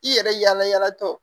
I yɛrɛ yala yalatɔ